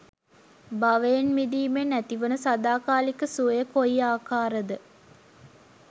භවයෙන් මිදීමෙන් ඇතිවන සදාකාලික සුවය කොයි ආකාර ද?